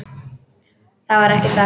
Það var ekki satt.